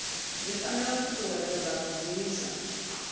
zwi fanela u ṱuṱuwedza vhagudiswa